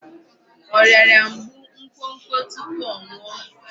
Ọ rịara mgbu nkwokwo tupu ọ nwụọ?